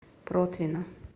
протвино